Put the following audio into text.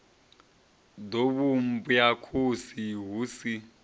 ḓo vhumbwa khosi hu si